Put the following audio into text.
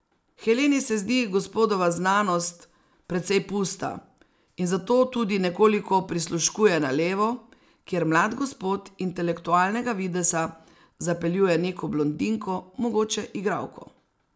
Heleni se zdi gospodova znanost precej pusta in zato tudi nekoliko prisluškuje na levo, kjer mlad gospod intelektualnega videza zapeljuje neko blondinko, mogoče igralko.